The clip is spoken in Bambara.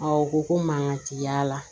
o ko ko mankan ti y'a la